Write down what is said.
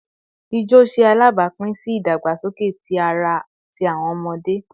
Ijo ṣe alabapin si idagbasoke ti ara ti awọn ọmọde